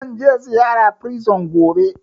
Zanje ziyara prison gobe